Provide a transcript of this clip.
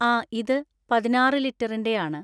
ആ ഇത് പതിനാറ്‌ ലിറ്ററിൻ്റെയാണ്